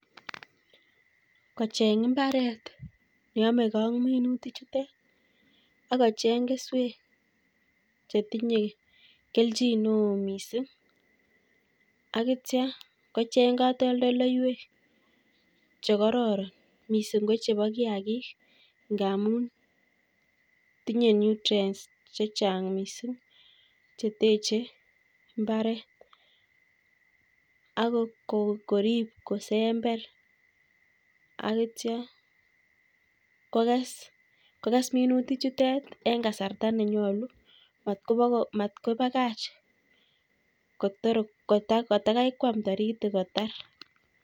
Kocheng' mbaret neyamegei ak minutik chute, akocheng' keswek chetinye kelchineoo miising' akitcha kocheng' katoldoloiwek chekararan miising' ko chebo kiagik, ngaamun tinye nutrients chechang' miising' cheteche mbaret ako korib kosember akitcha kokes. kokes minutik chutek eng' kasarta nenyolu, matkopakach kotaikwam taritik kotar